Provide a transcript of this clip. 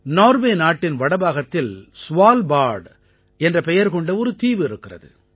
Norway நாட்டின் வடபாகத்தில் Svalbard என்ற பெயர் கொண்ட ஒரு தீவு இருக்கிறது